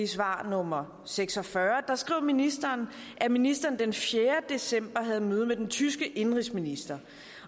svar nummer seks og fyrre skriver ministeren at ministeren den fjerde december havde møde med den tyske indenrigsminister